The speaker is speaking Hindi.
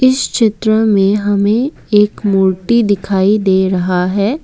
इस चित्र में हमें एक मूर्ति दिखाई दे रहा है।